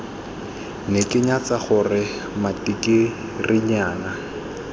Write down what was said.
ne ke nyatsa gore matikirinyana